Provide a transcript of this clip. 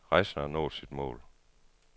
Rejsen har nået sit mål.